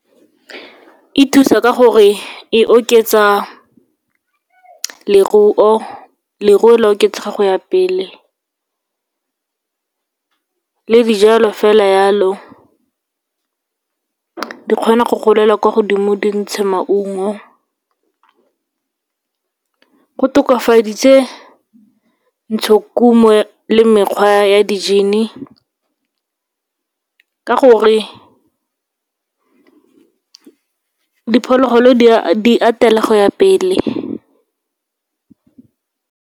E thusa ka gore e oketsa leruo, leruo le a oketsega go ya pele. Le dijalo fela yalo, di kgona go golela kwa godimo, di ntshe maungo. Go tokafaditse ntshokuno le mekgwa ya di-gene-e, ka gore diphologolo di atela go ya pele.